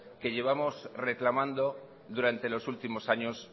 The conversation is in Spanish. que llevamos reclamando durante los últimos años